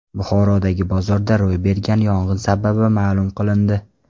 Buxorodagi bozorda ro‘y bergan yong‘in sababi ma’lum qilindi.